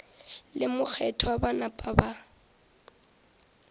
le mokgethwa ba napa ba